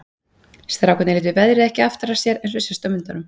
Strákarnir létu veðrið ekki aftra sér eins og sést á myndunum.